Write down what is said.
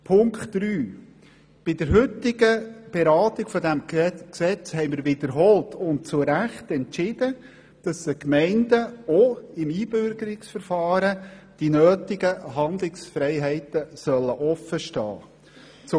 Zum dritten Punkt: Bei der heutigen Beratung dieses Gesetzes haben wir wiederholt und zu Recht entschieden, dass den Gemeinden auch im Einbürgerungsverfahren die nötigen Handlungsfreiheiten offen stehen sollen.